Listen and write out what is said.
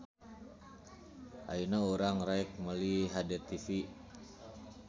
Ayeuna urang rek meuli HDTV